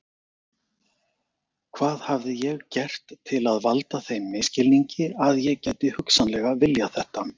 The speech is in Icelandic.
Hvað hafði ég gert til að valda þeim misskilningi að ég gæti hugsanlega viljað þetta?